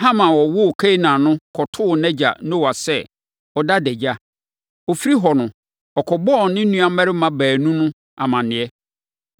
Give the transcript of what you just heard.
Ham a ɔwoo Kanaan no kɔtoo nʼagya Noa sɛ ɔda adagya. Ɔfirii hɔ no, ɔkɔbɔɔ ne nuammarima baanu no amaneɛ.